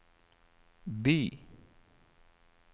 by